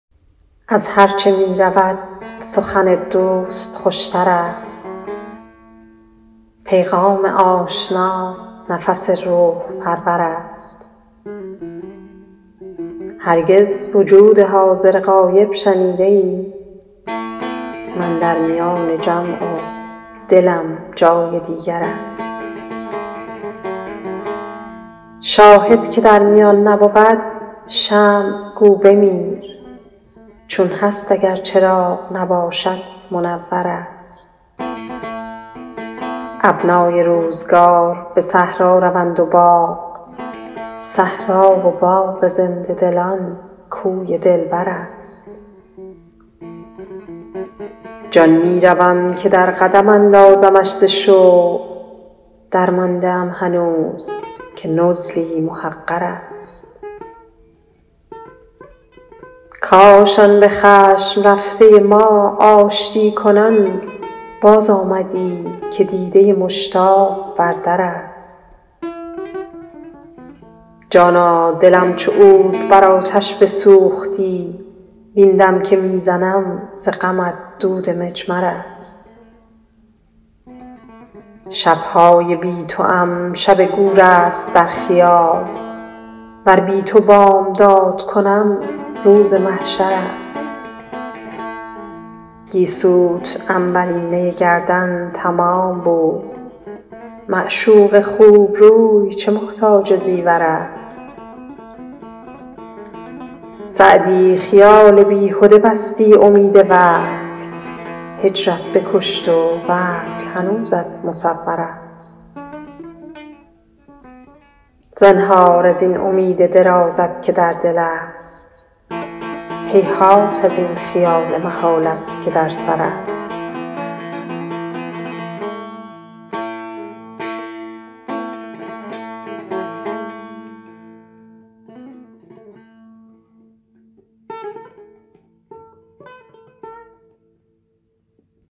از هرچه می رود سخن دوست خوش تر است پیغام آشنا نفس روح پرور است هرگز وجود حاضر غایب شنیده ای من در میان جمع و دلم جای دیگر است شاهد که در میان نبود شمع گو بمیر چون هست اگر چراغ نباشد منور است ابنای روزگار به صحرا روند و باغ صحرا و باغ زنده دلان کوی دلبر است جان می روم که در قدم اندازمش ز شوق درمانده ام هنوز که نزلی محقر است کاش آن به خشم رفته ما آشتی کنان بازآمدی که دیده مشتاق بر در است جانا دلم چو عود بر آتش بسوختی وین دم که می زنم ز غمت دود مجمر است شب های بی توام شب گور است در خیال ور بی تو بامداد کنم روز محشر است گیسوت عنبرینه گردن تمام بود معشوق خوب روی چه محتاج زیور است سعدی خیال بیهده بستی امید وصل هجرت بکشت و وصل هنوزت مصور است زنهار از این امید درازت که در دل است هیهات از این خیال محالت که در سر است